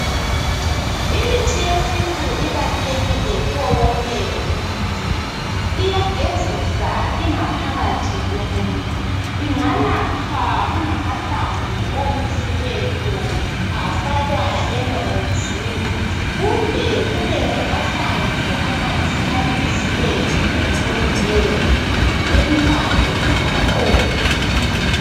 Imithi yesintu ibalulekile kuwo wonke umuntu. Iyagezisa ingaphakathi yomuntu. Inganathwa kungamahlamvu onyisiweyo, afakwa emanzini. Kumbe kungamahlamvu amanzi, abilisiweyo, kumbe, impande zakhona.